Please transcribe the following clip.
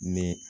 Ni